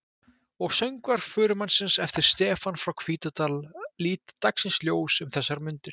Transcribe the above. Og Söngvar förumannsins eftir Stefán frá Hvítadal líta dagsins ljós um þessar mundir.